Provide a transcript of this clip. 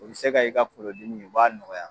O bɛ se ka i ka kungolo dimi o b'a nɔgɔya.